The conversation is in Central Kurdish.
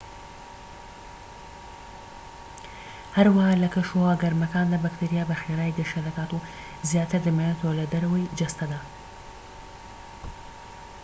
هەروەها لە کەشوهەوا گەرمەکاندا بەکتریا بە خێرایی گەشە دەکات و زیاتر دەمێنێتەوە لە دەرەوەی جەستەدا